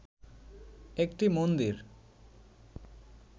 একটি মন্দির